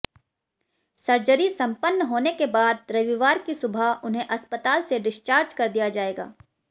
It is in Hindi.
सर्जरी सम्पन्न होने के बाद रविवार की सुबह उन्हें अस्पताल से डिस्चार्ज कर दिया जाएगा